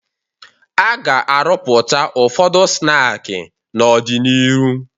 A ga-arụpụta ụfọdụ snaakị n'ọdịnihu